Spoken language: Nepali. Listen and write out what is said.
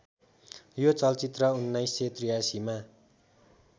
यो चलचित्र १९८३ मा